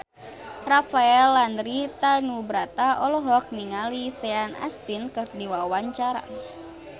Rafael Landry Tanubrata olohok ningali Sean Astin keur diwawancara